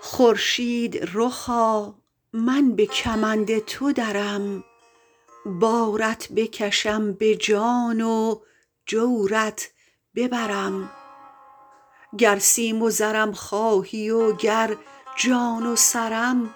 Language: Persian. خورشید رخا من به کمند تو درم بارت بکشم به جان و جورت ببرم گر سیم و زرم خواهی و گر جان و سرم